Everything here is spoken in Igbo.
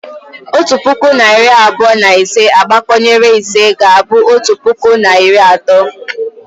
Otu puku na iri abụọ na ise agbakọnyere ise ga-abụ otu puku na iri atọ